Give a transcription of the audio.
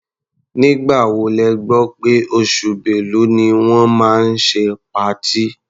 Nígbà wo lẹ gbọ́ pé oṣù Bẹ́lu ni wọ́n máa ṣe patí?